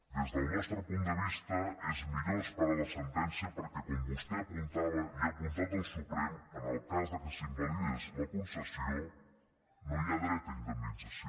des del nostre punt de vista és millor esperar la sentència perquè com vostè apuntava i ha apuntat el suprem en el cas que s’invalidés la concessió no hi ha dret a indemnització